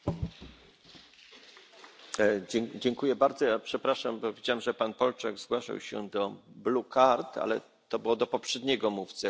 Bardzo przepraszam, bo widziałem, że pan Polčák zgłaszał się do ale to było do poprzedniego mówcy, jak rozumiem, więc już nie będziemy do tego wracać.